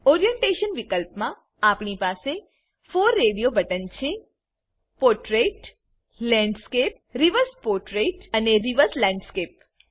orientation વિકલ્પમા આપણી પાસે 4 રેડીઓ બટન છે પોર્ટ્રેટ લેન્ડસ્કેપ રિવર્સ પોર્ટ્રેટ અને રિવર્સ લેન્ડસ્કેપ